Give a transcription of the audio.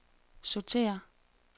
sortér